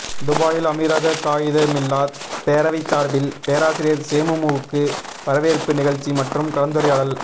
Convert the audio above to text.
துபாயில் அமீரக காயிதெமில்லத் பேரவை சார்பில் பேராசிரியர் சேமுமுவுக்கு வரவேற்பு நிகழ்ச்சி மற்றும் கலந்துரையாடல்